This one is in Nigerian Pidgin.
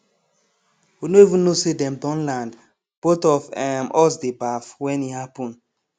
we no even know say dem don land both of um us dey baff when e happen